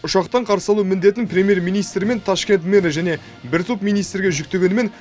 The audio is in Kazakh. ұшақтан қарсы алу міндетін премьер министр мен ташкент мэрі және бір топ министрге жүктегенімен